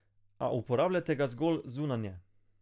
A uporabljajte ga zgolj zunanje.